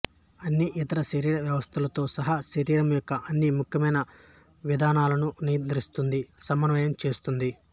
అన్ని ఇతర శరీర వ్యవస్థలతో సహా శరీరం యొక్క అన్ని ముఖ్యమైన విధులను నియంత్రిస్తుంది సమన్వయం చేస్తుంది